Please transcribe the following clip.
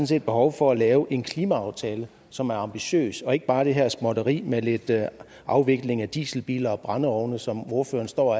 set behov for at lave en klimaaftale som er ambitiøs ikke bare det her småtteri med lidt afvikling af dieselbiler og brændeovne som ordføreren står